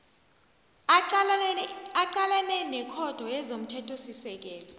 aqalene nekhotho yezomthethosisekelo